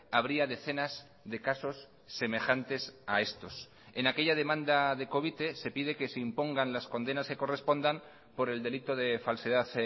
habría decenas de casos semejantes a estos en aquella demanda de covite se pide que se impongan las condenas que correspondan por el delito de falsedad